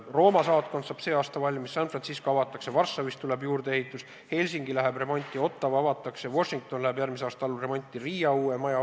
Rooma saatkond saab see aasta valmis, San Francisco konsulaat avatakse, Varssavis tuleb juurdeehitis, Helsingi läheb remonti, Ottawa avatakse, Washington läheb järgmise aasta alguses remonti, Riias ostsime uue maja.